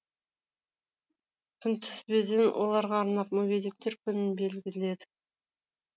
күнтізбеден оларға арнап мүгедектер күнін белгіледік